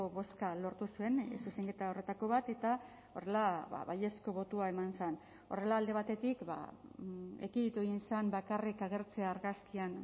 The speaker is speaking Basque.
bozka lortu zuen zuzenketa horretako bat eta horrela baiezko botoa eman zen horrela alde batetik ekiditu egin zen bakarrik agertzea argazkian